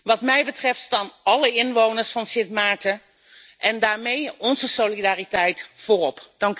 Wat mij betreft staan alle inwoners van Sint Maarten en daarmee onze solidariteit voorop.